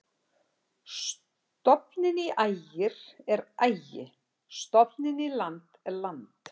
Stofninn í Ægir er Ægi-, stofninn í land er land.